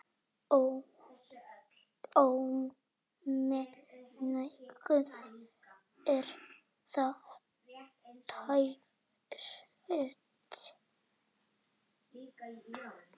Ómengað er það tært.